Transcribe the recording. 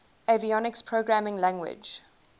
avionics programming language